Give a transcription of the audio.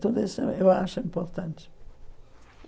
Tudo isso eu acho importante.